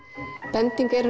bending er